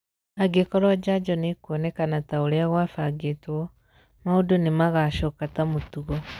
Angĩkorwo Njanjo nĩĩkuonekana taũria gwafangĩtwo, maũndu nĩmagacoka ta mũtugo.